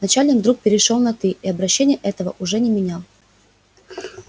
начальник вдруг перешёл на ты и обращения этого уже не менял